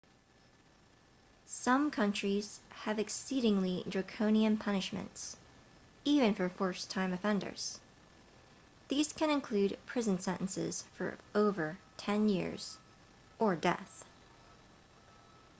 some countries have exceedingly draconian punishments even for first time offenses these can include prison sentences of over 10 years or death